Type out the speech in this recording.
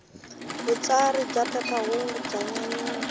vutsari bya phephahungu bya nyanyula